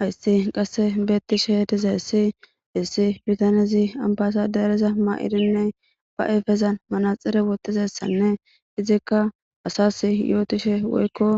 hayssi qasse beettishe dizayissi issi bitanezi ambasadeereza ma'idinne ba afezan manaxire woththizessanne izikka asas yootishe woykko